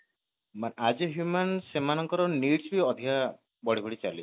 as a human ତାଙ୍କ needs ବି ଅଧିକା ବଢି ବଢି ଚାଲିଛି